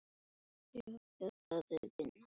En af hverju Valur?